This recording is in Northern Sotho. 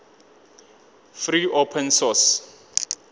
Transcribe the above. free open source